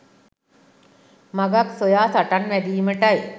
මගක් සොයා සටන් වැදීමටයි